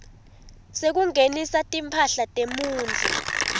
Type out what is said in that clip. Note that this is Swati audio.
sekungenisa timphahla temuntfu